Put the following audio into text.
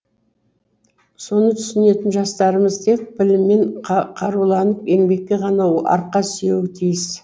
соны түсінетін жастарымыз тек біліммен қаруланып еңбекке ғана арқа сүйеуі тиіс